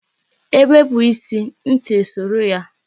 Ebepu ịsị, ntị e soro ya